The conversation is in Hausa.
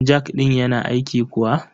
Jak ɗin yana aiki kuwa?